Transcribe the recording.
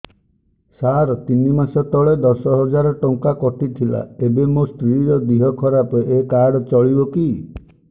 ସାର ତିନି ମାସ ତଳେ ଦଶ ହଜାର ଟଙ୍କା କଟି ଥିଲା ଏବେ ମୋ ସ୍ତ୍ରୀ ର ଦିହ ଖରାପ ଏ କାର୍ଡ ଚଳିବକି